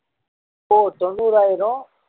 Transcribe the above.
ஓ தொண்ணூறாயிரம்